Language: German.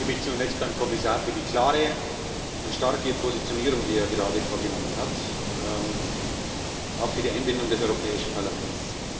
Ich bedanke mich zunächst beim Kommissar für die klare und starke Positionierung, die er gerade vorgenommen hat, aber auch für die Einbindung des Europäischen Parlaments.